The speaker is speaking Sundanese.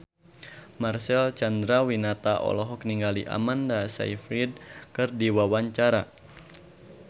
Marcel Chandrawinata olohok ningali Amanda Sayfried keur diwawancara